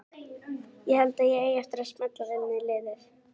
Ég held að ég eigi eftir að smella vel inn í liðið.